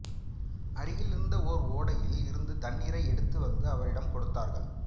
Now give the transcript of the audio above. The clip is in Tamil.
அருகில் இருந்த ஓர் ஓடையில் இருந்து தண்ணீரை எடுத்து வந்து அவரிடம் கொடுத்தார்கள்